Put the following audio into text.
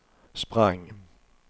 sprang